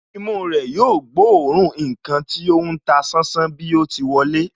Imú rẹ̀ yóò gbóòórùn ǹkan tí ó ń ta sánsán bí o ti wọlé